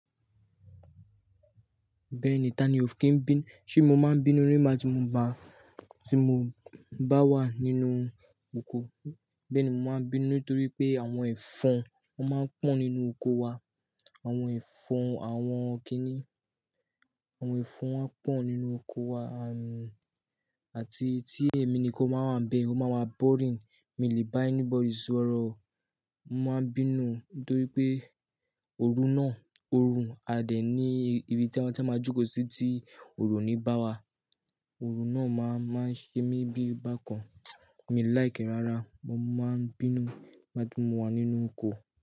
Bẹ́ẹ̀ni, ta ni o fi ń bín? Ṣé mo máa ń bínú nígbà tí mo bá, tí mo bá wà nínú oko? Bẹ́ẹ̀ni, mo máa ń bínú nítorí pé àwọn ẹ̀fọn máa ń pọ̀ nínú oko wa. Àwọn ẹ̀fọn, àwọn kíní, àwọn ẹ̀fọn máa ń pọ̀ nínú oko wa, àti tí èmi ni kò máa wà bẹ́ẹ̀, ó máa wá boring. Èmi lì bá anybody sọ̀rọ̀. Mo máa ń bínú nítorí pé òru náà, òru a dẹ̀ ní ibi tí a máa jòkó sí tí òrò òní bá wà. Òru náà máa ń ṣe mí bí bákan. Èmi láìkẹ́ rárá, mo máa ń bínú nígbà tí mo wà nínú oko.